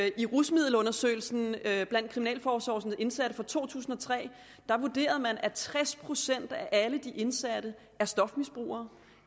i rusmiddelundersøgelsen blandt kriminalforsorgens indsatte fra to tusind og tre vurderede man at tres procent af alle de indsatte er stofmisbrugere